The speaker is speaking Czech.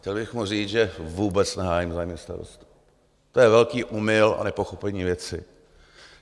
Chtěl bych mu říct, že vůbec nehájím zájmy starostů, to je velký omyl a nepochopení věci.